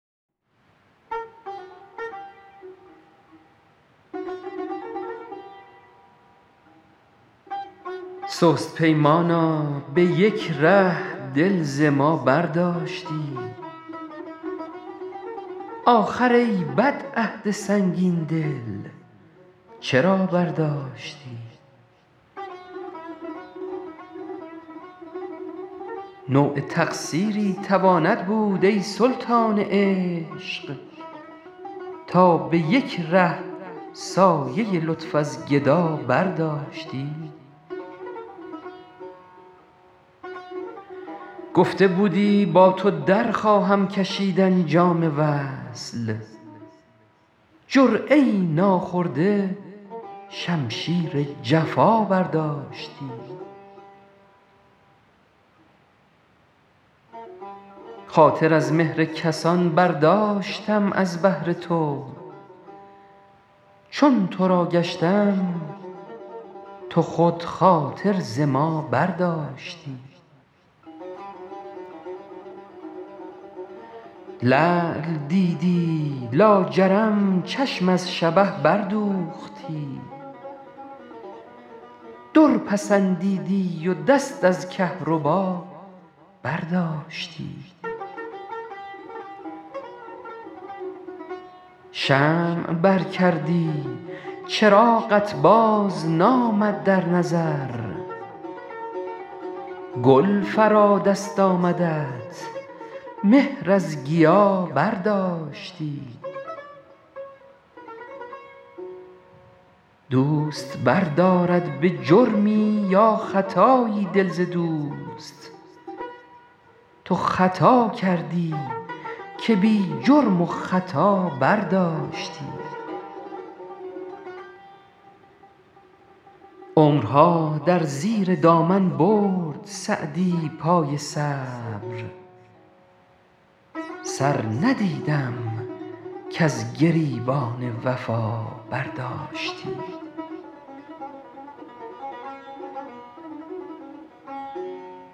سست پیمانا به یک ره دل ز ما برداشتی آخر ای بد عهد سنگین دل چرا برداشتی نوع تقصیری تواند بود ای سلطان عشق تا به یک ره سایه لطف از گدا برداشتی گفته بودی با تو در خواهم کشیدن جام وصل جرعه ای ناخورده شمشیر جفا برداشتی خاطر از مهر کسان برداشتم از بهر تو چون تو را گشتم تو خود خاطر ز ما برداشتی لعل دیدی لاجرم چشم از شبه بردوختی در پسندیدی و دست از کهربا برداشتی شمع بر کردی چراغت بازنامد در نظر گل فرا دست آمدت مهر از گیا برداشتی دوست بردارد به جرمی یا خطایی دل ز دوست تو خطا کردی که بی جرم و خطا برداشتی عمرها در زیر دامن برد سعدی پای صبر سر ندیدم کز گریبان وفا برداشتی